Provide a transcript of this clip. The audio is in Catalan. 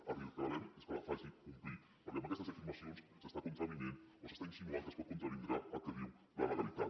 el que li reclamem és que la faci complir perquè amb aquestes afirmacions s’està contravenint o s’està insinuant que es pot contravindre el que diu la legalitat